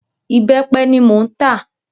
Ìbẹ́pẹ ni mò ń tà.